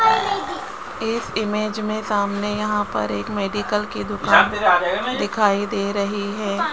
इस इमेज में सामने यहां पर एक मेडिकल की दुकान दिखाई दे रही है।